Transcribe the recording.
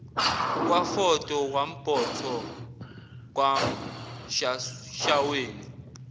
kwafodo kwambotho kwashaweni